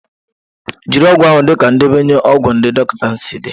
Jiri ọgwụ ahụ dịka ndenye ọgwụ ndị dọkịta si dị